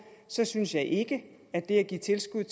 synes synes jeg ikke at det at give tilskud